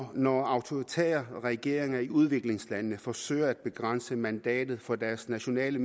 at når autoritære regeringer i udviklingslande forsøger at begrænse mandatet for deres nationale